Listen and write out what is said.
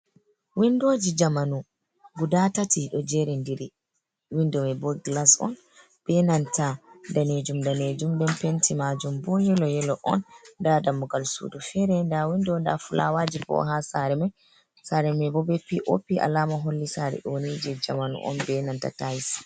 Windoji jamanu guda tati ɗo jerindiri. windo mai bo glas on, be nanta daneejum-daneejum. Be penti maajum bo yelo-yelo on. Nda dammugal sudu fere. Nda windo, nda fulawaji bo ha sare mai. Sare mai bo be P.O.P. Alama holli sare ɗo ni jei jamanu on, be nanta tais.